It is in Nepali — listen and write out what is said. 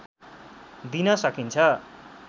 दिन सकिन्छ